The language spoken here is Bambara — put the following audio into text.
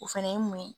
O fɛnɛ ye mun ye